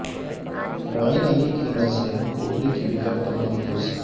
معین علی کی نظریں کوہلی کی وکٹ پر مرکوز